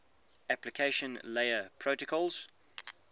application layer protocols